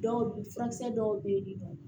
Dɔw bi furakisɛ dɔw bɛ yen ni nɔ